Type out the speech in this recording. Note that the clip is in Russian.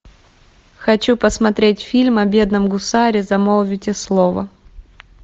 хочу посмотреть фильм о бедном гусаре замолвите слово